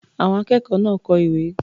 Àwọn akẹ́kọ̀ọ́ náà kọ ìwé.